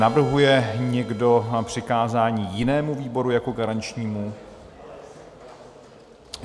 Navrhuje někdo přikázání jinému výboru jako garančnímu?